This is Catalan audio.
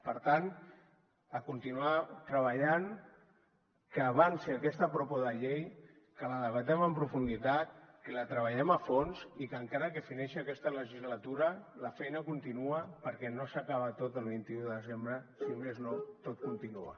per tant a continuar treballant que avanci aquesta propo de llei que la debatem en profunditat que la treballem a fons i que encara que fineixi aquesta legislatura la feina continua perquè no s’acaba tot el vint un de desembre si més no tot continua